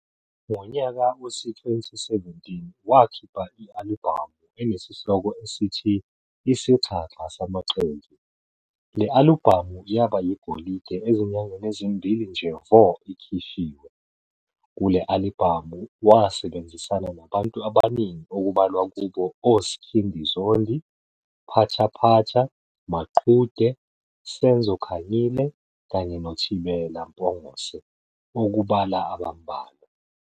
Ngonyaka wezi-2017 wakhipha i-alibhamu esihloko sithi Isixaxa Samaxoki, le-alibhamu yaba yigolide ezinyangeni ezimbili nje vo ikhishiwe. Kule-alibhamu wasebenzisana nabantu abaningi okubalwa kubo oSkhindi Zondi, Phathaphatha, Maqhude, Senzo Kanyile kanye noThibela Mpungose ukubala abambalwa.